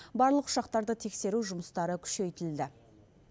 барлық ұшақтарды тексеру жұмыстары күшейтілді